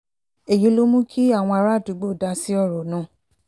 èyí ló mú kí àwọn àràádúgbò dá sí ọ̀rọ̀ náà